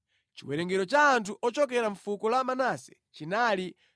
Chiwerengero cha anthu ochokera mʼfuko la Manase chinali 32,200.